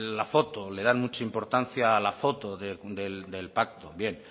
la foto le dan mucha importancia a la foto del pacto bien